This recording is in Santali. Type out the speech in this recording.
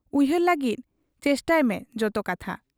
ᱩᱭᱦᱟᱹᱨ ᱞᱟᱹᱜᱤᱫ ᱪᱮᱥᱴᱟᱭᱢᱮ ᱡᱚᱛᱚ ᱠᱟᱛᱷᱟ ᱾